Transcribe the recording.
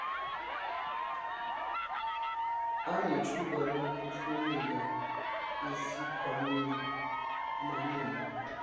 anethuba lokuhlomula esikhwamaneni